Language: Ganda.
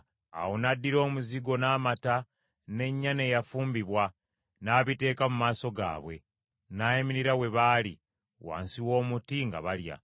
Awo n’addira omuzigo n’amata n’ennyana eyafumbibwa n’abiteeka mu maaso gaabwe; n’ayimirira we baali, wansi w’omuti nga balya.